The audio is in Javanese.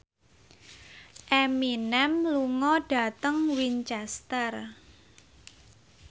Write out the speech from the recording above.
Eminem lunga dhateng Winchester